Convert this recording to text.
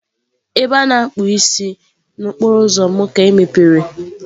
Ebe a na-akpụ isi n'okporo ụzọ m ka emepere.